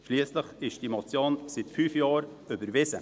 Schliesslich ist die Motion seit fünf Jahren überwiesen.